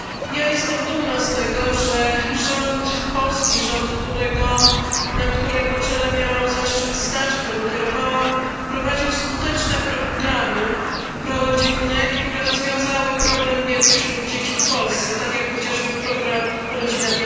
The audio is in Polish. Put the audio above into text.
Ja jestem dumna z tego, że rząd polski, rząd na którego czele miałam zaszczyt stać, którym kierowałam, wprowadził skuteczne programy prorodzinne, które rozwiązały problem biedy wśród dzieci w Polsce, tak jak chociażby program rodzina